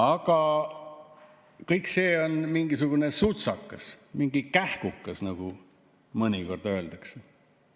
Aga see kõik on mingisugune sutsakas, mingi kähkukas, nagu mõnikord öeldakse.